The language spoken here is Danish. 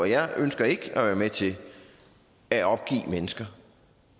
jeg ønsker ikke at være med til at opgive mennesker